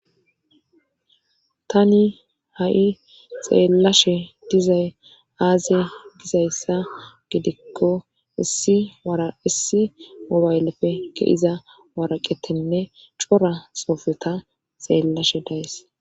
Tani ha'i xeellashe dizay aazye dizayssa gidikko issi wara issi mubaylefe ke iza waraqetenne cora sofeta xeellashe dayes.